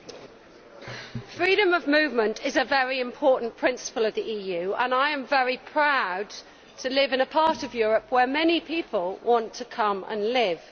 Mr President, freedom of movement is a very important principle of the EU, and I am very proud to live in a part of Europe where many people want to come and live.